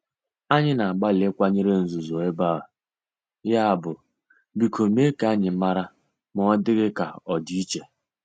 Anyị na-agbalị ịkwanyere nzuzo ebe a, yabụ biko mee ka anyị mara ma ọ dị gị ka ọ dị iche.